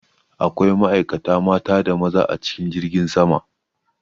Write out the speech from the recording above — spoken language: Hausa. Akwai ma'aikata mata da maza a cikin jirgin sama.